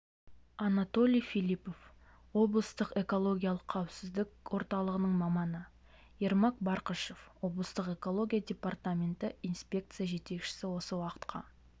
анатолий филипов облыстық экологиялық қауіпсіздік орталығының маманы ермак барқышев облыстық экология департаменті инспекция жетекшісі осы уақытқа